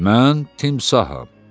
Mən timsaham.